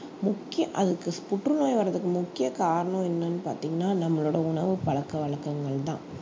முக்கிய அதுக்கு புற்றுநோய் வர்றதுக்கு முக்கிய காரணம் என்னன்னு பாத்தீங்கன்னா நம்மளோட உணவுப் பழக்க வழக்கங்கள் தான்